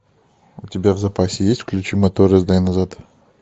у тебя в запасе есть включи мотор и сдай назад